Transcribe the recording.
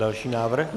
Další návrh.